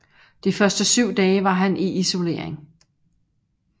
De første syv dage var han i isolering